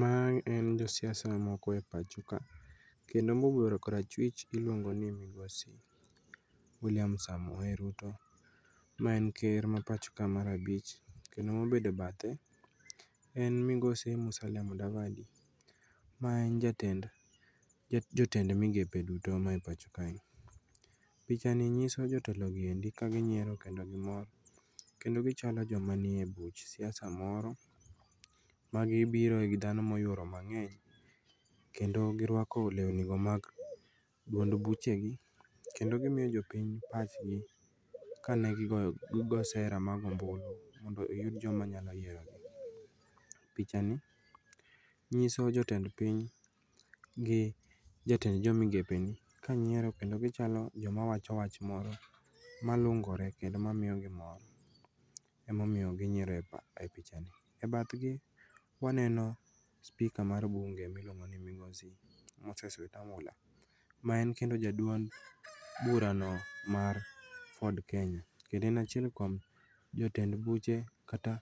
Mae en josiasa moko e pachoka kendo mobero kor achwich iluongoni migosi William Samoei Ruto ma en ker ma pachoka mar abich kendo mobede bathe en migosi Musalia Mudavadi. Ma en jatend migepe duto mae pacho kae. Pichani nyiso jotelogi endi kaginyiero kendo gimor kendo gichalo joma nie buch siasa moro ma gibiroe gi dhano moyuro mang'eny kendo girwako leuni go mag duond buchegi Kendo gimio jopiny pachgi ka negigo sera mar goo ombulu mondo oyud joma nyaloyierogi. Pichani nyiso jotend piny gi jatend jo migepeni kanyiero kendo gichalo joma wacho wach moro malungore kendo mamiogi mor. Emomiyo ginyiero e pichani.E bathgi waneno speaker mar bunge miluongoni migosi Moses Wetangula ma en kendo jaduol burano mar Ford Kenya. Kendo en achiel kuom jotend buche kata